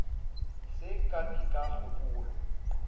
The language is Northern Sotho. se ka ke ka gopola